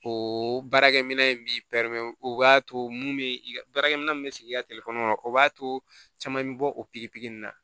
O baarakɛminɛn in b'i o b'a to mun bɛ baarakɛminɛn min bɛ sigi i ka la o b'a to caman bɛ bɔ o pikiri in na